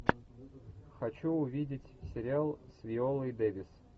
хочу увидеть сериал с виолой дэвис